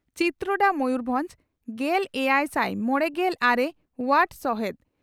ᱪᱤᱛᱨᱚᱰᱟ ᱢᱚᱭᱩᱨᱵᱷᱚᱸᱡᱽ ᱾ᱜᱮᱞᱮᱭᱟᱭᱥᱟᱭ ᱢᱚᱲᱮᱜᱮᱞ ᱟᱨᱮ ᱚᱣᱟᱨᱰ ᱥᱚᱦᱮᱫ